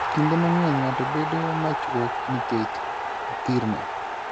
Kinde mang'eny, ng'ato bedo machuok nikech othirno.